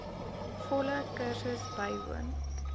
volle kursus bywoon